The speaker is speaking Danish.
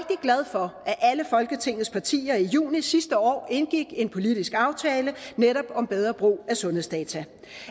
for at alle folketingets partier i juni sidste år indgik en politisk aftale netop om bedre brug af sundhedsdata